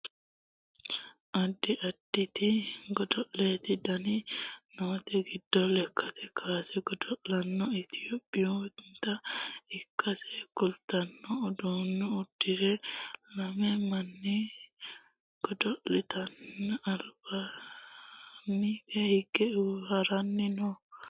addi additi godo'lete dani noote giddo lekkate kaase godo'laano itiyophiyuunnita ikkansa kultanno uddano uddire lame manni godo'laanote albaanni hige haranni no